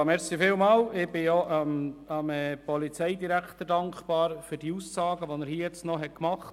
Ich bin dem Polizeidirektor dankbar für seine Ausführungen.